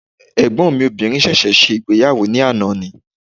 Ẹ̀gbọ́n mi obìnrin sẹ̀sẹ̀ ṣe ìgbéyàwó ní àná ni